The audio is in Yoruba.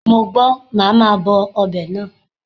Mo gbọ́, màá ma bọ ọbẹ̀ náà.